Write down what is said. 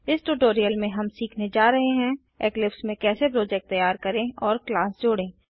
इस ट्यूटोरियल में हम सीखने जा रहे हैं इक्लिप्स में कैसे प्रोजेक्ट तैयार करें और क्लास जोड़ें